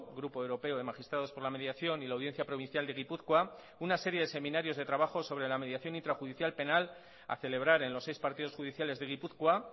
grupo europeo de magistrados por la mediación y la audiencia provincial de gipuzkoa una serie de seminarios de trabajo sobre la mediación intrajudicial penal a celebrar en los seis partidos judiciales de gipuzkoa